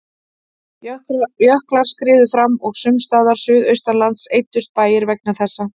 Jöklar skriðu fram og sums staðar suðaustanlands eyddust bæir vegna þessa.